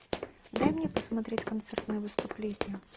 дай мне посмотреть концертные выступления